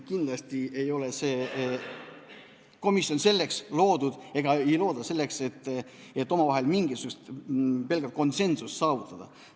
Kindlasti ei ole see komisjon loodud ja seda ei looda selleks, et pelgalt omavahel mingisugust konsensust saavutada.